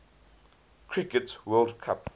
cricket world cup